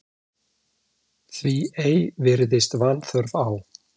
Því ei virðist vanþörf á